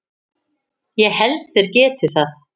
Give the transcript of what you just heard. Ég held þeir geti það.